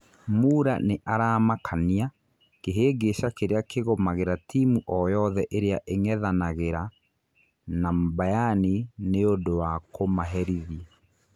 Mura nĩ aramakania' Kĩhĩngĩca kĩrĩa kĩgũmagĩra timu o yothe ĩrĩa ing'ethanagĩra na Mbayani nĩ ũndũ wa kũmaherithi.